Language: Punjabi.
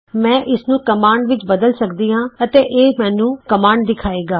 ਮੈਂ ਇਸਨੂੰ ਕਮਾਂਡ ਵਿਚ ਬਦਲ ਸਕਦੀ ਹਾਂ ਅਤੇ ਇਹ ਮੈਨੂੰ ਕਮਾਂਡ ਦਿਖਾਏਗਾ